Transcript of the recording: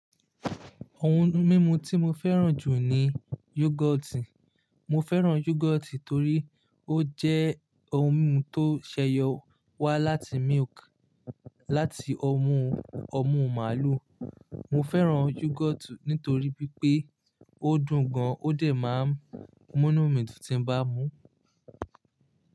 Ohun mímu tí mo fẹ́ràn jù ni yoghurt. Mo fẹ́ràn yoghurt torí ó jẹ́ ohun mímu tó ṣẹ́yọ wá láti milk, láti ọmú ọmú màlúù. Mo fẹ́ràn yoghurt nítorí wípé ó dùn gan, ó dẹ̀ máa ń múnu mí dun tí ń bá mú.